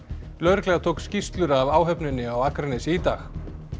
lögregla tók skýrslur af áhöfninni á Akranesi í dag